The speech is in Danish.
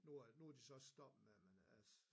Nu er nu de så stoppet med det men altså